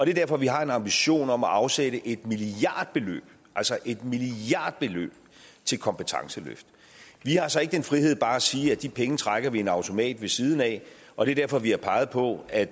er derfor vi har en ambition om at afsætte et milliardbeløb altså et milliardbeløb til kompetenceløft vi har så ikke den frihed bare at sige at de penge trækker vi i en automat ved siden af og det er derfor vi har peget på at